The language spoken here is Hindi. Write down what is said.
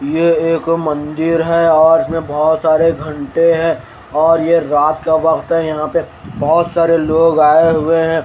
यह एक मंदिर है और इसमें बहुत सारे घण्टे हैं और ये रात का वक्त है और यहाँ पे बहुत सारे लोग आए हुए हैं।